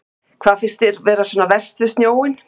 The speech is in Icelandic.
Hafsteinn: Hvað finnst ykkur vera svona verst við snjóinn?